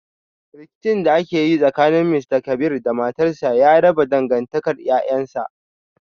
Rikicin da ke tsakanin Mr kabir da matarsa ya raba dangantakar 'ƴa'ƴansa.